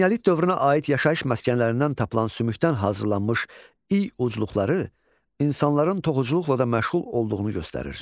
Eneolit dövrünə aid yaşayış məskənlərindən tapılan sümükdən hazırlanmış i ucluqları insanların toxuculuqla da məşğul olduğunu göstərir.